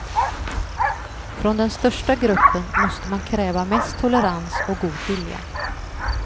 Från den största gruppen måste man kräva mest tolerans och god vilja.